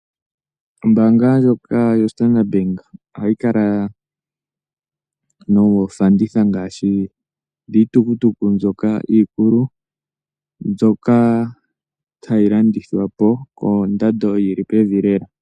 Ombaanga ndjoka yoStandard bank ohayi kala noofanditha ngaashi dhiitukutuku mbyoka iikulu, mbyoka hayi landithwa po kondando yili pevi lela.